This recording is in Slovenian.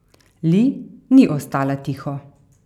Li ni ostala tiho.